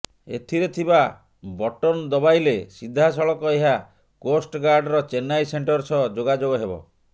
ଏଥିରେ ଥିବା ବଟନ୍ ଦବାଇଲେ ସିଧାସଳଖ ଏହା କୋଷ୍ଟଗାର୍ଡ଼ର ଚେନ୍ନାଇ ସେଣ୍ଟର ସହ ଯୋଗାଯୋଗ ହେବ